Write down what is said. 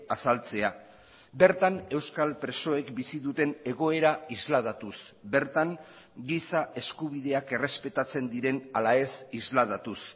azaltzea bertan euskal presoek bizi duten egoera isladatuz bertan giza eskubideak errespetatzen diren ala ez isladatuz